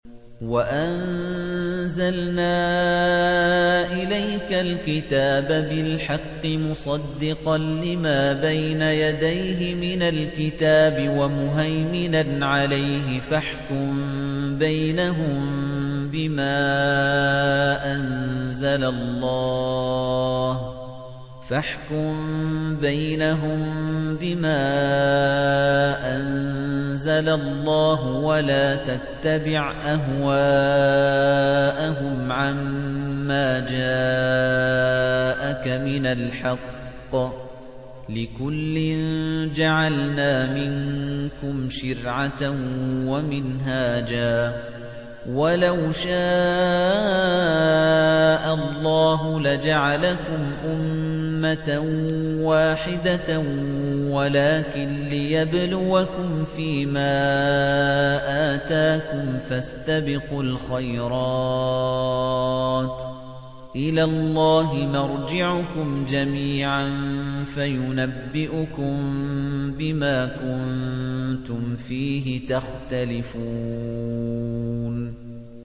وَأَنزَلْنَا إِلَيْكَ الْكِتَابَ بِالْحَقِّ مُصَدِّقًا لِّمَا بَيْنَ يَدَيْهِ مِنَ الْكِتَابِ وَمُهَيْمِنًا عَلَيْهِ ۖ فَاحْكُم بَيْنَهُم بِمَا أَنزَلَ اللَّهُ ۖ وَلَا تَتَّبِعْ أَهْوَاءَهُمْ عَمَّا جَاءَكَ مِنَ الْحَقِّ ۚ لِكُلٍّ جَعَلْنَا مِنكُمْ شِرْعَةً وَمِنْهَاجًا ۚ وَلَوْ شَاءَ اللَّهُ لَجَعَلَكُمْ أُمَّةً وَاحِدَةً وَلَٰكِن لِّيَبْلُوَكُمْ فِي مَا آتَاكُمْ ۖ فَاسْتَبِقُوا الْخَيْرَاتِ ۚ إِلَى اللَّهِ مَرْجِعُكُمْ جَمِيعًا فَيُنَبِّئُكُم بِمَا كُنتُمْ فِيهِ تَخْتَلِفُونَ